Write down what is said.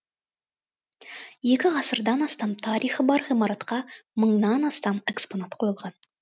екі ғасырдан астам тарихы бар ғимаратқа мыңнан астам экспонат қойылған